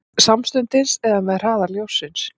Samstundis eða með hraða ljóssins?